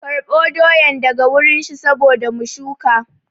Karɓo doyan daga wurin shi saboda mu shuka